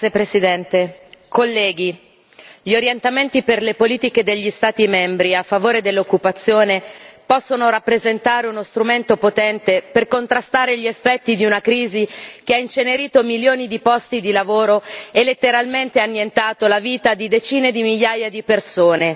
Presidente, onorevoli colleghi, gli orientamenti per le politiche degli Stati membri a favore dell'occupazione possono rappresentare uno strumento potente per contrastare gli effetti di una crisi che ha incenerito milioni di posti di lavoro e letteralmente annientato la vita di decine di migliaia di persone.